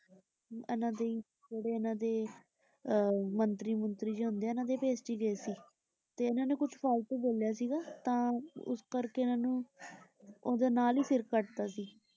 ਇੰਨਾ ਦੇ ਹੀ ਜਿਹੜੇ ਇੰਨਾ ਦੇ ਅਹ ਮੰਤਰੀ-ਮੁੰਤਰੀ ਜਿਹੇ ਹੁੰਦੇ ਹਨ ਉਨ੍ਹਾਂ ਦੇ ਹੀ ਭੇਸ ਚ ਗਏ ਸੀ। ਤੇ ਇੰਨਾ ਨੇ ਕੁਛ ਫਾਲਤੂ ਬੋਲਿਆ ਸੀਗਾ ਤਾਂ ਉਸ ਕਰਕੇ ਉਨ੍ਹਾਂ ਨੂੰ ਉਹਦੇ ਨਾਲ ਹੀ ਸਿਰ ਕਟਤਾ ਸੀ ।